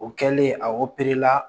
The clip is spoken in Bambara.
O kɛlen a la